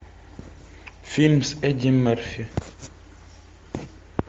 фильм с эдди мерфи